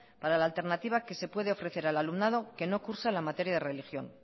para la alternativa que se puede ofrecer al alumnado que no cursa la materia de religión